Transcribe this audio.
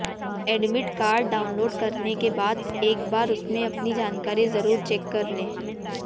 admit card download करने के बाद एक बार उसमें अपनी जानकारी जरूर चेक कर लें